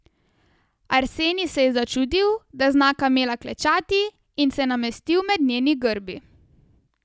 Arsenij se je začudil, da zna kamela klečati, in se namestil med njeni grbi.